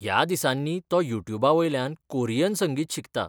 ह्या दिसांनी तो यूट्युबावयल्यान कोरीयन संगीत शिकता.